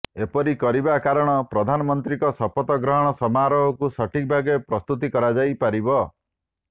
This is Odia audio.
ଏପରି କରିବା କାରଣ ପ୍ରଧାନମନ୍ତ୍ରୀଙ୍କ ଶପଥ ଗ୍ରହଣ ସମାରୋହରକୁ ସଠିକ ଭାବେ ପ୍ରସ୍ତୁତି କରାଯାଇ ପାରିବ